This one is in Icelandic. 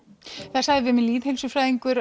það sagði við mig